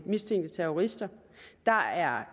mistænkte terrorister der er